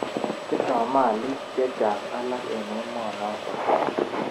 Tindoi malik che chang alak eng emonotok.